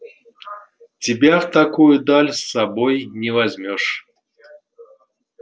тебя в такую даль с собой не возьмёшь